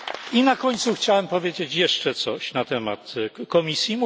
I na końcu chciałem powiedzieć jeszcze coś na temat Komisji.